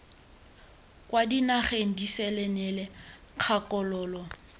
kwa dinageng disele neela kgakololo